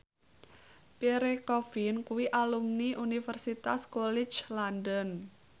Pierre Coffin kuwi alumni Universitas College London